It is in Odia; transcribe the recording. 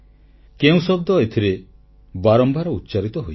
କେଉଁ ଶବ୍ଦ ଏଥିରେ ବାରମ୍ବାର ଉଚ୍ଚାରିତ ହୋଇଛି